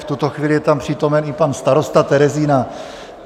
V tuto chvíli je tam přítomen i pan starosta Terezína.